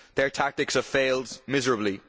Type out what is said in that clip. Their tactics have failed miserably.